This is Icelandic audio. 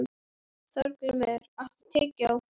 Þorgrímur, áttu tyggjó?